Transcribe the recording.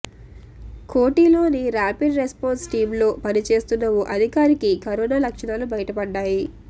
కోఠిలోని rapid response టీంలో పనిచేస్తున్న ఓ అధికారికి కరోనా లక్షణాలు బయటపడ్డాయి